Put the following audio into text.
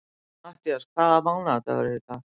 Matthías, hvaða mánaðardagur er í dag?